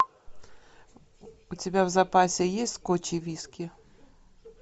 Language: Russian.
у тебя в запасе есть скотч и виски